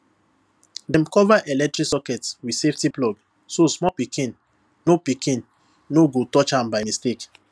dem cover electric sockets with safety plug so small pikin no pikin no go touch am by mistake